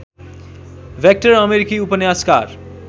vector अमेरिकी उपन्यासकार